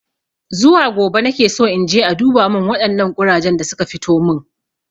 Zuwa gobe nakeso inje a duba min waɗannan ƙurajen da suka fitomin